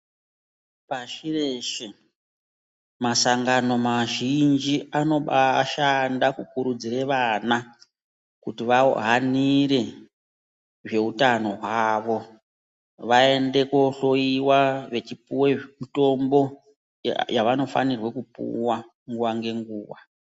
Pashi reshe masangano mazhinji anobaashanda kukurudzira vana kuti vahanire zveutano hwavo vaende kohloyiwa vechipuwe zvemutombo yavanofanire kupuwa nguwa ngenguwa.